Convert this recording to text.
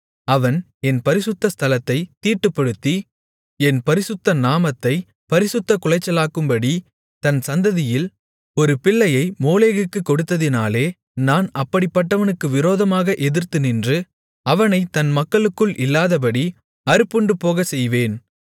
அவன் என் பரிசுத்த ஸ்தலத்தைத் தீட்டுப்படுத்தி என் பரிசுத்த நாமத்தைப் பரிசுத்தக் குலைச்சலாக்கும்படி தன் சந்ததியில் ஒரு பிள்ளையை மோளேகுக்குக் கொடுத்ததினாலே நான் அப்படிப்பட்டவனுக்கு விரோதமாக எதிர்த்து நின்று அவனைத் தன் மக்களுக்குள் இல்லாதபடி அறுப்புண்டு போகச் செய்வேன்